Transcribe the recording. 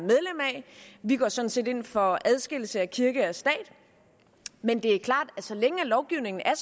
vi går sådan set ind for adskillelse af kirke og stat men det er klart at så længe lovgivningen er